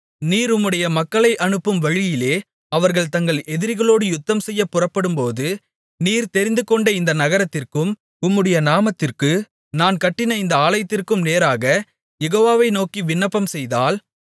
நீர் உம்முடைய மக்களை அனுப்பும் வழியிலே அவர்கள் தங்கள் எதிரிகளோடு யுத்தம் செய்யப் புறப்படும்போது நீர் தெரிந்துகொண்ட இந்த நகரத்திற்கும் உம்முடைய நாமத்திற்கு நான் கட்டின இந்த ஆலயத்திற்கும் நேராக யெகோவாவை நோக்கி விண்ணப்பம் செய்தால்